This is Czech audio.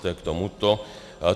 To je k tomuto.